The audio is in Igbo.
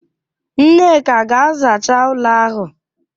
Nneka ga-azacha ụlọ ahụ!